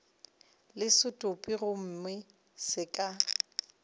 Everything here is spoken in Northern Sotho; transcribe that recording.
le setopo gomme go ka